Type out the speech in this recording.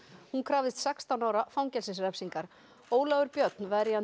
hún krafðist sextán ára fangelsisrefsingar Ólafur Björnsson verjandi